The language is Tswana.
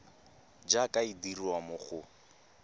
jaaka e dirwa mo go